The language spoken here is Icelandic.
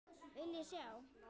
Viljiði sjá!